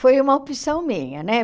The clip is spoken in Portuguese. Foi uma opção minha, né?